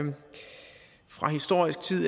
fra historisk tid